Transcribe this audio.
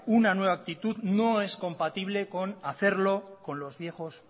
una nueva actitud no es compatible con hacerlo con los viejos